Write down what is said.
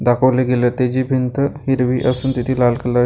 दाखवले गेले ते जी भिंत हिरवी असून तिथे लाल कलरची --